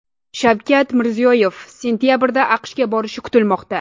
Shavkat Mirziyoyev sentabrda AQShga borishi kutilmoqda.